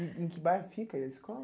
E em que bairro fica a escola?